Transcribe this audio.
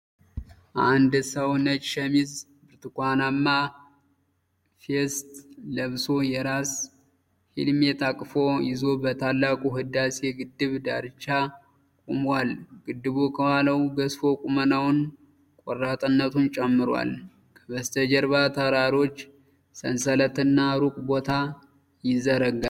አንድ ሰው ነጭ ሸሚዝ፣ ብርቱካናማ ቬስት ለብሶ የራስ ሄልሜት አቅፎ ይዞ በታላቁ የህዳሴ ግድብ ዳርቻ ቆሟል። ግድቡ ከኋላው ገዝፎ ቁመናውንና ቆራጥነቱን ይጨምራል። ከበስተጀርባ የተራሮች ሰንሰለትና ሩቅ ቦታ ይዘረጋል።